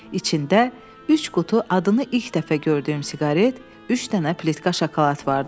İçində üç qutu adını ilk dəfə gördüyüm siqaret, üç dənə plitka şokolad vardı.